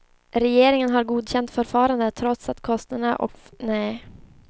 Regeringen har godkänt förfarandet trots att kostnaderna för försvarets flygningar är skattefinansierade.